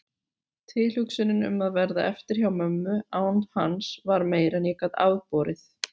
Tilhugsunin um að verða eftir hjá mömmu án hans var meira en ég gat afborið.